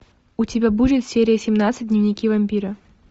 у тебя будет серия семнадцать дневники вампира